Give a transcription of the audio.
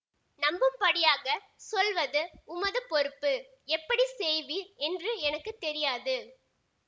நம்பும்படியாகச் சொல்வது உமது பொறுப்பு எப்படி செய்வீர் என்று எனக்கு தெரியாது